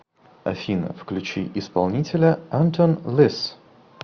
афина включи исполнителя антон лисс